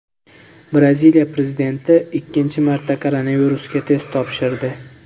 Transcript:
Braziliya prezidenti ikkinchi marta koronavirusga test topshirdi.